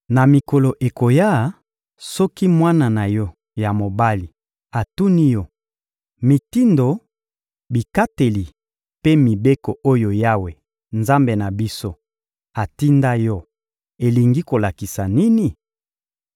Na mikolo ekoya, soki mwana na yo ya mobali atuni yo: Mitindo, bikateli mpe mibeko oyo Yawe, Nzambe na biso, atinda yo, elingi kolakisa nini?